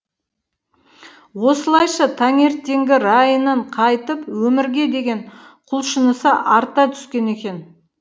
осылайша таңертеңгі райынан қайтып өмірге деген құлшынысы арта түскен екен